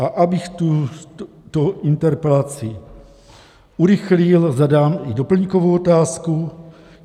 A abych tuto interpelaci urychlil, zadám i doplňkovou otázku.